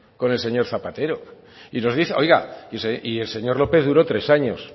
con el señor zapatero y nos dice oiga y el señor lópez duró tres años